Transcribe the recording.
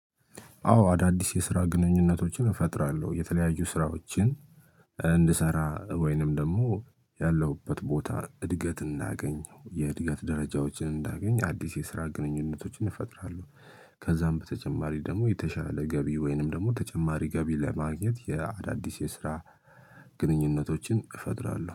አዎ አዳዲስ የስራ ግንኙነቶችን እፈጥራለሁ። የተለያዩ ስራዎችን እንድሰራ ወይንም ደግሞ ያለሁበት ቦታ እድገት እንዳገኝ የእድገት ደረጃዎችን እንዳገኝ አዲስ የስራ ግንኙነቶችን እፈጥራለሁ። ከዛም በተጨማሪ ደግሞ የተሻለ ገቢ ወይንም ደግሞ ተጨማሪ ገቢ ለማግኘት የአዳዲስ የስራ ግንኙነቶችን እፈጥራለሁ።